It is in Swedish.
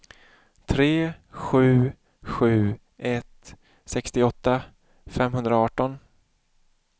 tre sju sju ett sextioåtta femhundraarton